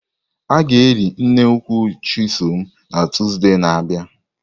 A ga-eli nne nkwụ Chisom na Tọzdee na abia.